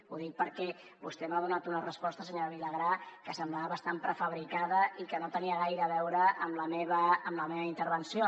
ho dic perquè vostè m’ha donat una resposta senyora vilagrà que semblava bastant prefabricada i que no tenia gaire a veure amb la meva intervenció